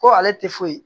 Ko ale tɛ foyi ye